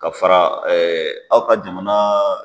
Ka fara aw ka jamana